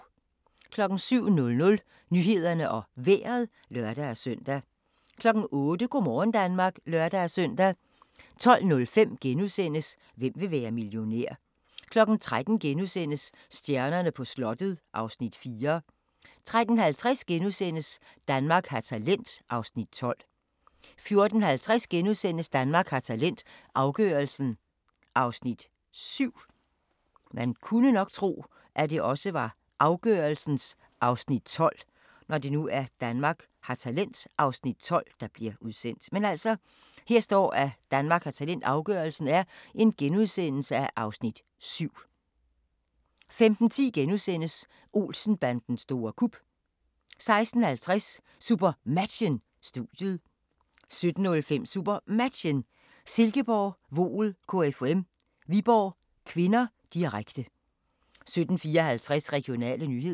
07:00: Nyhederne og Vejret (lør-søn) 08:00: Go' morgen Danmark (lør-søn) 12:05: Hvem vil være millionær? * 13:00: Stjernerne på slottet (Afs. 4)* 13:50: Danmark har talent (Afs. 12)* 14:50: Danmark har talent – afgørelsen (Afs. 7)* 15:10: Olsen-bandens store kup * 16:50: SuperMatchen: Studiet 17:05: SuperMatchen: Silkeborg-Voel KFUM - Viborg (k), direkte 17:54: Regionale nyheder